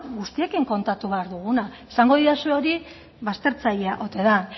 guztiekin kontatu behar duguna esango didazue hori baztertzailea ote den